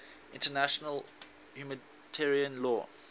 international humanitarian law